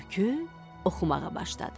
Tülkü oxumağa başladı.